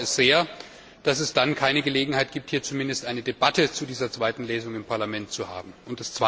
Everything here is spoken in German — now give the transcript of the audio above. Ich bedaure sehr, dass es keine Gelegenheit gibt, hier zumindest eine Debatte zu dieser zweiten Lesung im Parlament zu führen.